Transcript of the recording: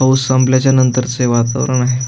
पाऊस संपल्याच्या नंतरचे वातावरण आहे.